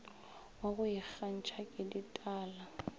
wa go ikgantšha ke ditala